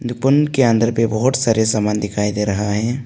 निपुण के अंदर पे बहोत सारे सामान दिखाई दे रहा है।